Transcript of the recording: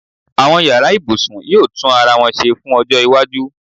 àwọn yara ibusun yíò tun arawọn se fún ojó iwájú